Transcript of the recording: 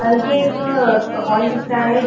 अ ये एक हॉल दिख रहा है।